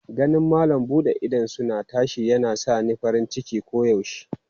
Ganin malam bude idosuna tashi yana sa ni farin ciki koyaushe.